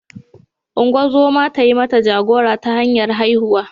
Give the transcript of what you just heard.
Ungozoma ta yi mata jagora ta hanyar haihuwa.